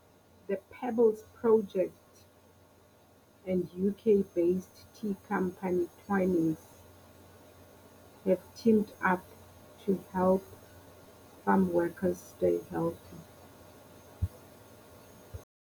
The Pebbles project and UK based tea company Twinings have teamed up to help farmworkers stay healthy.